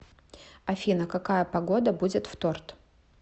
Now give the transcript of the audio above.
афина какая погода будет в торт